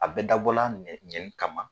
A bɛɛ dabɔ la ɲɛni kama.